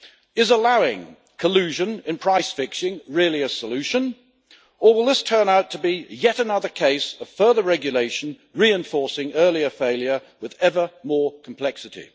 Is allowing collusion and price fixing really a solution, or will this turn out to be yet another case of further regulation reinforcing earlier failure with ever more complexity?